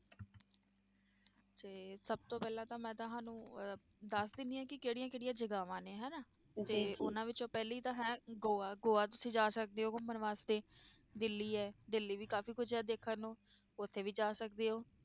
ਤੇ ਸਭ ਤੋਂ ਪਹਿਲਾਂ ਤਾਂ ਮੈਂ ਤੁਹਾਨੂੰ ਅਹ ਦੱਸ ਦਿੰਦੀ ਹਾਂ ਕਿ ਕਿਹੜੀਆਂ ਕਿਹੜੀਆਂ ਜਗ੍ਹਾਵਾਂ ਨੇ ਹਨਾ, ਤੇ ਉਹਨਾਂ ਵਿੱਚੋਂ ਪਹਿਲੀ ਤਾਂ ਹੈ ਗੋਆ, ਗੋਆ ਤੁਸੀਂ ਜਾ ਸਕਦੇ ਹੋ ਘੁੰਮਣ ਵਾਸਤੇ, ਦਿੱਲੀ ਹੈ ਦਿੱਲੀ ਵੀ ਕਾਫ਼ੀ ਕੁੱਝ ਹੈ ਦੇਖਣ ਨੂੰ, ਉੱਥੇ ਵੀ ਜਾ ਸਕਦੇ ਹੋ